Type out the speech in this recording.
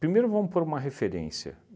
Primeiro vamos pôr uma referência.